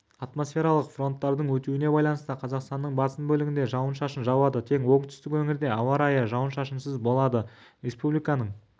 атмосфералық фронттардың өтуіне байланысты қазақстанның басым бөлігінде жауын-шашын жауады тек оңтүстік өңірде ауа райы жауын-шашынсыз болады республиканың кей жерлерінде желдің күшеюі